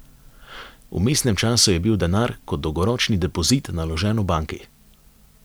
V vmesnem času je bil denar kot dolgoročni depozit naložen v banki.